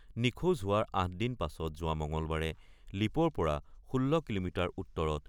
নিখোজ হোৱাৰ ৮ দিন পাছত যোৱা মঙ্গলবাৰে লীপ'ৰ পৰা ১৬ কিলোমিটাৰ উত্তৰত